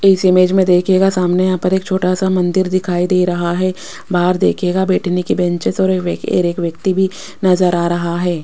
इस इमेज में देखिएगा सामने यहां पर एक छोटा सा मंदिर दिखाई दे रहा है बाहर देखिएगा बैठने की बेंचेस और एक व्यक्ति भी नजर आ रहा है।